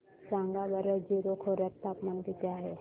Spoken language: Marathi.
सांगा बरं जीरो खोर्यात तापमान किती आहे